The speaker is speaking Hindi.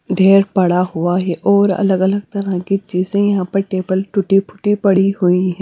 ढेर पड़ा हुआ है और अलग अलग तरह की चीजे यहां पर टेबल टूटी फूटी पड़ी हुई--